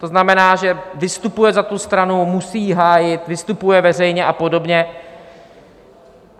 To znamená, že vystupuje za tu stranu, musí ji hájit, vystupuje veřejně a podobně.